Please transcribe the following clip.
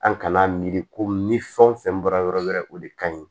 An kana miiri ko ni fɛn o fɛn bɔra yɔrɔ wɛrɛ o de ka ɲi